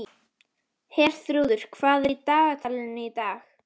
Herþrúður, hvað er í dagatalinu í dag?